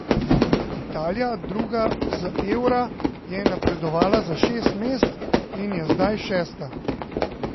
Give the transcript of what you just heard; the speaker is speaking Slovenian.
Italija, druga z Eura je napredovala za šest mest in je zdaj šesta.